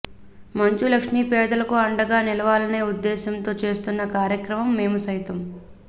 మంచు లక్ష్మి పేదలకు అండగా నిలవాలనే ఉద్దేశ్యంతో చేస్తున్న కార్యక్రమం మేము సైతం